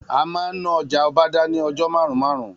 A ma n ná ọjà Ọbádá ni ọjọ́ marun-marun